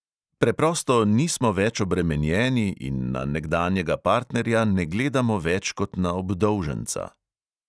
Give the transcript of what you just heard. Preprosto nismo več obremenjeni in na nekdanjega partnerja ne gledamo več kot na obdolženca.